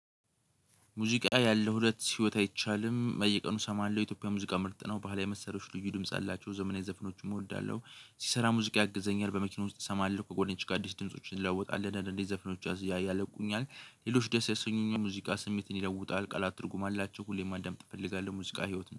ሙዚቃ ያለው ሁለት ህይወት አይቻልም በየቀኑ እሰማለሁ የኢትዮጵያ ሙዚቃ ምርጥ ነው ባህላዊ መሰረቶች ልዩ ድምጽ አላቸው ዘመናዊ ዘፍኖቹም እወዳለሁ። ስሰራ ሙዚቃ ያግዘኛል በመኪና ውስጥ እሰማለሁ ከጎን ጋር ዲስተንሶችን እንለውጣለን ዘፍኖቹ ያስለቁኛል። ሌሎች ደስ ያሰኙኝ ሙዚቃ ስሜትን ይለውጣል ቃላት ትርጉም አላቸው። ሁሌም አንዳንድ እንፈልጋለን ሙዚቃ ህይወት